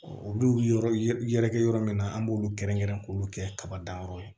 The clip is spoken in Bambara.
olu yɔrɔ yɛrɛ kɛ yɔrɔ min na an b'olu kɛrɛnkɛrɛn k'olu kɛ kaba dan yɔrɔ ye